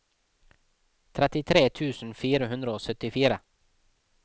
trettitre tusen fire hundre og syttifire